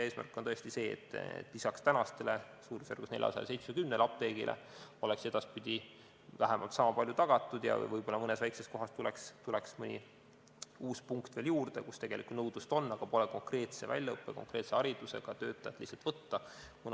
Eesmärk on tõesti see, et lisaks praegustele apteekidele, mida on suurusjärgus 470, oleks edaspidi vähemalt sama palju tagatud ja võib-olla tuleks mõni uus punkt mõnes väikses kohas, kus tegelikku nõudlust on, aga pole lihtsalt konkreetse väljaõppe ja haridusega töötajat võtta.